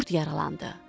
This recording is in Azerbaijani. Qurd yaralandı.